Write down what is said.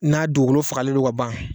N'a dugukolo fagalen don ka ban